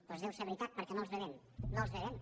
doncs deu ser veritat perquè no els bevem no els bevem